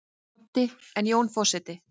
Broddi: En Jón forseti?